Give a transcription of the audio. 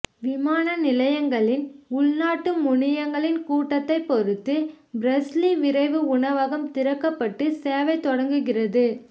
விமான நிலையங்களின் உள்நாட்டு முனையங்களில் கூட்டத்தை பொறுத்து பிரஸ்லி விரைவு உணவகம் திறக்கப்பட்டு சேவைத் தொடங்குகிறது